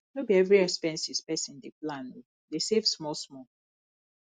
no be every expenses pesin dey plan o dey save smallsmall